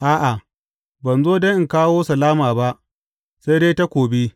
A’a, ban zo don in kawo salama ba, sai dai takobi.